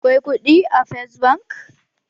Akwai kuɗi a first bank?